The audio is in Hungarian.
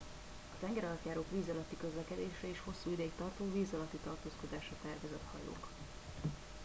a tengeralattjárók víz alatti közlekedésre és hosszú ideig tartó víz alatti tartózkodásra tervezett hajók